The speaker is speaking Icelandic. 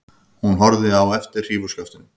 Hún horfði á eftir hrífuskaftinu.